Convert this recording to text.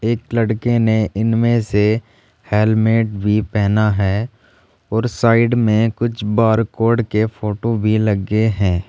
एक लड़के ने इनमें से हेलमेट भी पहना है और साइड में कुछ बारकोड के फोटो भी लगे है।